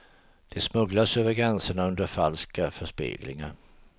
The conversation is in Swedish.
De smugglas över gränsen under falska förespeglingar.